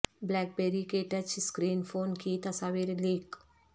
black بیری کے touch screen phone کی تصاویر لیک